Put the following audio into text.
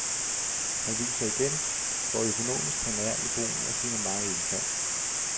Han viser igen, hvor økonomisk han er i brugen af sine mange indfald.